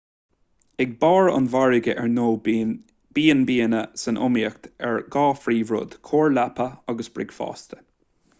ag barr an mhargaidh ar ndóigh bíonn b&banna san iomaíocht ar dhá phríomhrud: cóir leapa agus bricfeasta